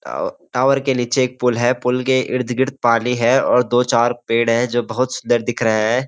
Tower के नीचे एक पुल है पुल के इर्द गिर्द पानी है और दो चार पेड़ हैं जो बहुत सुंदर दिख रहे हैं।